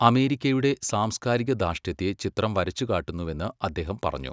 അമേരിക്കയുടെ സാംസ്കാരികധാർഷ്ട്യത്തെ ചിത്രം വരച്ചുകാട്ടുന്നുവെന്ന് അദ്ദേഹം പറഞ്ഞു.